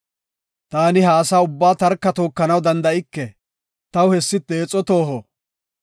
Taani ha asa ubbaa tarka tookanaw danda7ike; taw hessi deexo tooho.